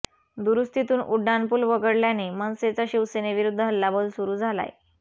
दुरूस्तीतून उड्डाणपुल वगळल्याने मनसेचा शिवसेनेविरूध्द हल्लाबोल सुरू झालाय